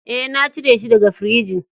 E,na cire shi daga firijin.